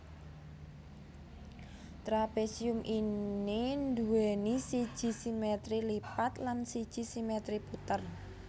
Trapésium ini nduwèni siji simètri lipat lan siji simètri puter